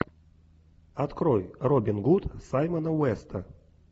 открой робин гуд саймона уэста